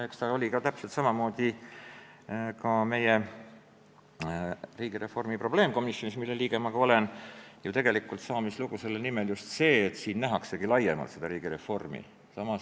Eks täpselt samamoodi oli riigireformi probleemkomisjonis, mille liige ma olen, selle nimetuse saamislugu just see, et siin nähaksegi riigireformi laiemalt.